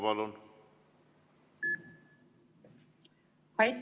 Palun!